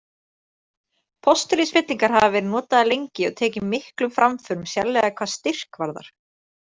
Postulínsfyllingar hafa verið notaðar lengi og tekið miklum framförum, sérlega hvað styrk varðar.